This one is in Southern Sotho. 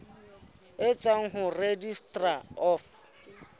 e tswang ho registrar of